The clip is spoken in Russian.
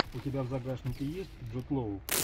у тебя в загашнике есть джуд лоу